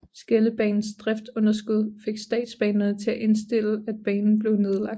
Skeldebanens driftsunderskud fik Statsbanerne til at indstille at banen blev nedlagt